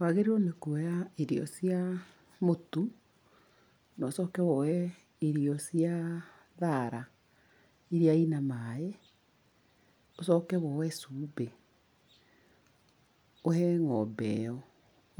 Wagĩriirwo nĩ kuoya irio cia mũtu, na ũcoke woye irio cia thara, iria ina maĩ, ũcoke woye cumbĩ. Ũhe ng'ombe ĩyo.